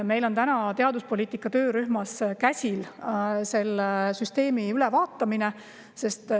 Meil on teaduspoliitika töörühmas käsil selle süsteemi ülevaatamine.